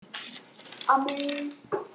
Aðrir spiluðu ekki vel.